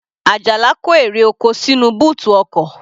Ajala kó èrè oko sínú bóòtù ọkọ̀.